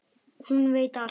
Hún veit allt.